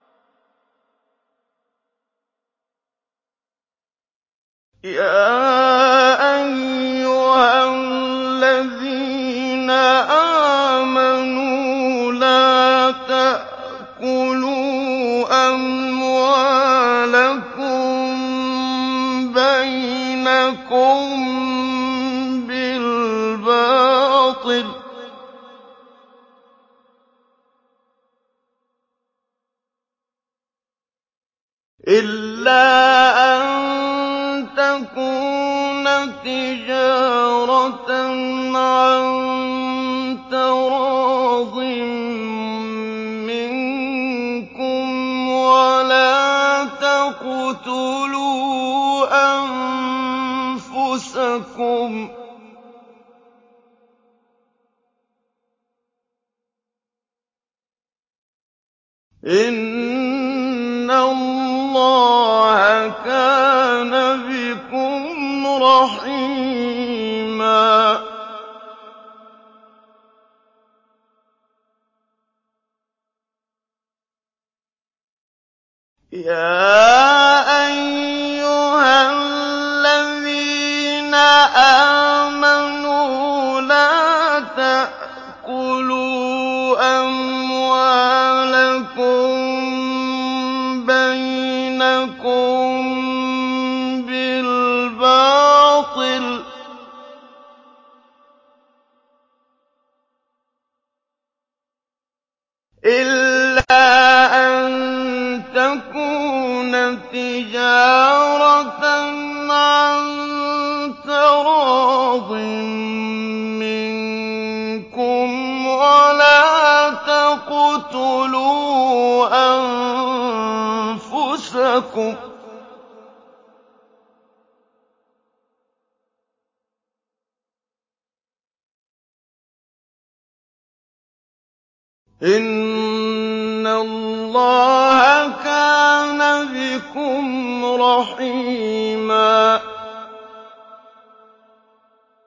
يَا أَيُّهَا الَّذِينَ آمَنُوا لَا تَأْكُلُوا أَمْوَالَكُم بَيْنَكُم بِالْبَاطِلِ إِلَّا أَن تَكُونَ تِجَارَةً عَن تَرَاضٍ مِّنكُمْ ۚ وَلَا تَقْتُلُوا أَنفُسَكُمْ ۚ إِنَّ اللَّهَ كَانَ بِكُمْ رَحِيمًا